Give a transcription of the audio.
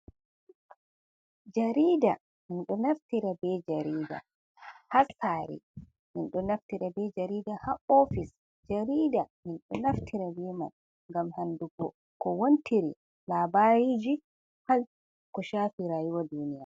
Jariada min ɗo naftira bee jariida haa saare, min ɗo naftira bee jariida haa oofis. Jariida min ɗo naftira bee man ngam anndugo ko wontiri, labariiji haa ko shafi raayuwa duuniya.